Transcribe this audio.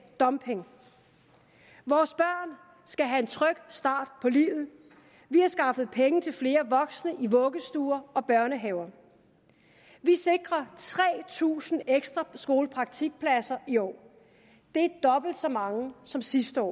dumping vores børn skal have en tryg start på livet vi har skaffet penge til flere voksne i vuggestuer og børnehaver vi sikrer tre tusind ekstra skolepraktikpladser i år det er dobbelt så mange som sidste år